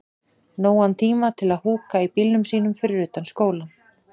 Nógan tíma til að húka í bílnum sínum fyrir utan skólann.